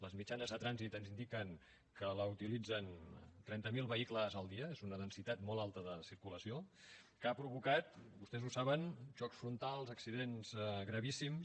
les mitjanes de trànsit ens indiquen que la utilitzen trenta mil vehicles el dia és una densitat molt alta de circulació que ha provocat vostès ho saben xocs frontals accidents gravíssims